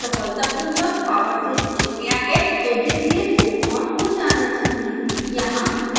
यदि यंत्र सफलतापूर्वक पॉवर से जुड़ गया है तो डिस्प्ले को on हो जाना चाहिए